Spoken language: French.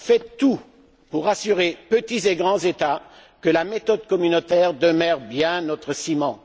Faites tout pour rassurer petits et grands États que la méthode communautaire demeure bien notre ciment